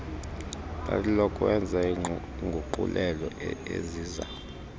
lalilelokwenza iinguqulelo eziza